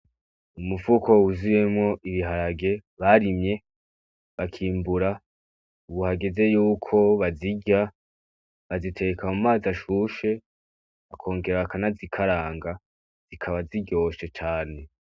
Umufuko wuzuyemwo ibiharage barimye bakimbura ubu hageze yuko bazirya, baziteka mu mazi ashushe bakongera bakanazikaranga zikaba ziryoshe cane.